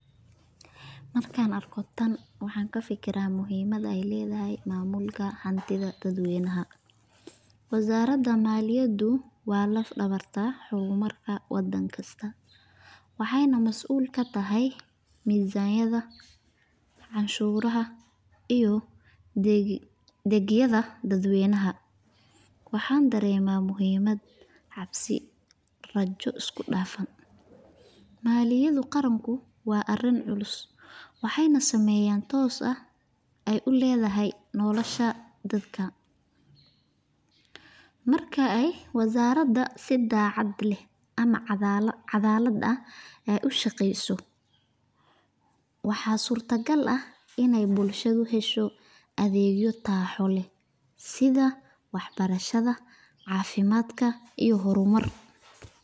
Markan arkoh tan waxakafikirya muhimada ayleedahay mamulka, hantitha dadweynaha wizaradu maliyadu wa laf dawarka hurmarka wadanga kasta waxayna masul kathaya mizaniyada canshuraha iyo degyada dadweynahay, waxan dareemaha mahumad cabsi rajo iskudafan malaiyada qaranku wa arin culus waxaynah sameeyan toos ay u leeyahay dashabdadka marka si cagalt leeh u shaqeystoh waxa sulgal eeh Ina bulshada heshoh adeeg taxi leeh setha waxbarashada cafimdkaa iyo hormar.